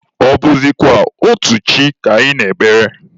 Ọ bụzịkwa otu chi ka anyị na-ekpere?